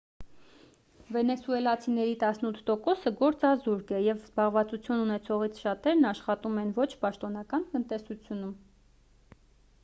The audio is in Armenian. վենեսուելացիների տասնութ տոկոսը գործազուրկ է և զբաղվածություն ունեցողներից շատերն աշխատում են ոչ պաշտոնական տնտեսությունում